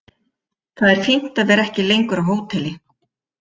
Það er fínt að vera ekki lengur á hóteli.